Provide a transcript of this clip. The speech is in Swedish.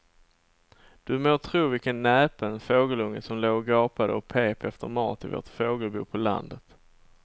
Du må tro vilken näpen fågelunge som låg och gapade och pep efter mat i vårt fågelbo på landet.